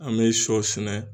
An bɛ shɔ sɛnɛ.